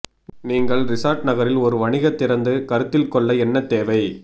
நீங்கள் ரிசார்ட் நகரில் ஒரு வணிக திறந்து கருத்தில் கொள்ள என்ன தேவை